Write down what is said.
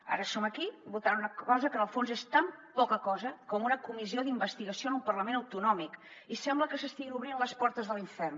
ara som aquí votant una cosa que en el fons és tan poca cosa com una comissió d’investigació en un parlament autonòmic i sembla que s’estiguin obrint les portes de l’infern